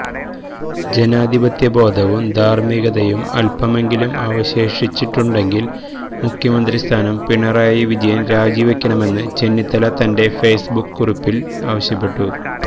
ജനാധിപത്യ ബോധവും ധാർമ്മികതയും അല്പമെങ്കിലും അവശേഷിച്ചിട്ടുണ്ടെങ്കിൽ മുഖ്യമന്ത്രി സ്ഥാനം പിണറായി വിജയൻ രാജിവെക്കണമെന്ന് ചെന്നിത്തല തന്റെ ഫേസ്ബുക്ക് കുറിപ്പിൽ ആവശ്യപ്പെട്ടു